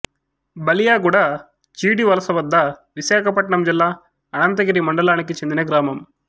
బలియాగుడ చీడివలస వద్ద విశాఖపట్నం జిల్లా అనంతగిరి మండలానికి చెందిన గ్రామం